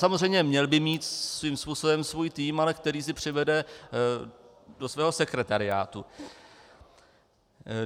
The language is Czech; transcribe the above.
Samozřejmě měl by mít svým způsobem svůj tým, ale který si přivede do svého sekretariátu.